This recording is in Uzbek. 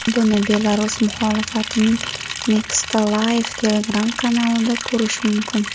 Buni Belarus muxolifatining Nexta Live Telegram kanalida ko‘rish mumkin .